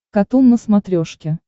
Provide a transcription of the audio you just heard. катун на смотрешке